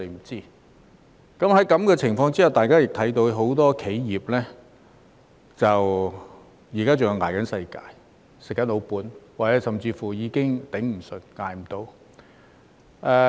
在這種情況下，大家也看到很多企業現時仍在"捱世界"、"吃老本"，甚或已經"捱不住"。